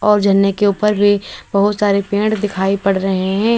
और झरने के ऊपर भी बहुत सारे पेड़ दिखाई पड़ रहे हैं।